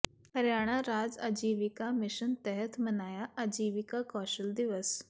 ਹਰਿਆਣਾ ਰਾਜ ਆਜੀਵਿਕਾ ਮਿਸ਼ਨ ਤਹਿਤ ਮਨਾਇਆ ਆਜੀਵਿਕਾ ਕੌਸ਼ਲ ਦਿਵਸ